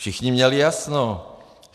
Všichni měli jasno.